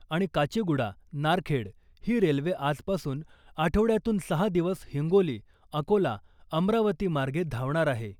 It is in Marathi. आणि काचीगुडा नारखेड ही रेल्वे आजपासून आठवड्यातून सहा दिवस हिंगोली , अकोला , अमरावती मार्गे धावणार आहे .